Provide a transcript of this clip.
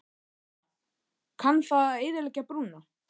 Helga: Kann það að eyðileggja brúna?